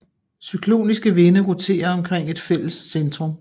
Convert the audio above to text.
Cykloniske vinde roterer omkring et fælles centrum